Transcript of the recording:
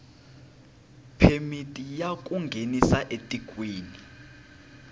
phemiti ya ku nghenisa etikweni